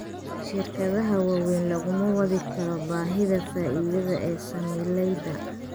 Shirkadaha waaweyn laguma wadi karo baahida faa'iidada ee saamilayda.